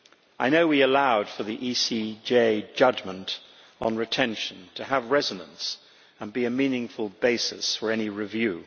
I know we allowed for the ECJ judgment on retention to have resonance and to be a meaningful basis for any review.